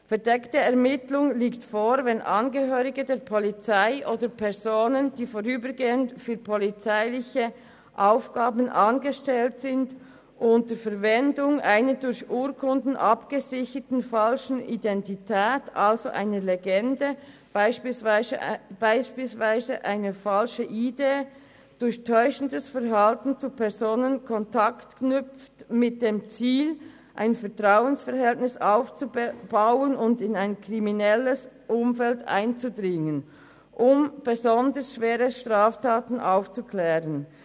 Eine verdeckte Ermittlung liegt vor, wenn Angehörige der Polizei oder Personen, die vorübergehend für polizeiliche Aufgaben angestellt sind, unter Verwendung einer durch Urkunden abgesicherten Identität, also einer Legende, beispielsweise einer falschen ID, durch täuschendes Verhalten zu Personen Kontakt knüpfen mit dem Ziel, ein Vertrauensverhältnis aufzubauen und in ein kriminelles Umfeld einzudringen, um besonders schwere Straftaten aufzuklären.